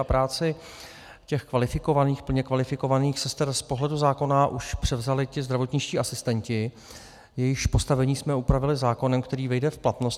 A práci těch kvalifikovaných, plně kvalifikovaných sester z pohledu zákona už převzali ti zdravotničtí asistenti, jejichž postavení jsme upravili zákonem, který vyjde v platnost.